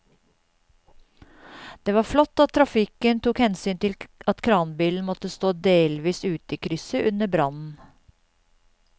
Det var flott at trafikken tok hensyn til at kranbilen måtte stå delvis ute i krysset under brannen.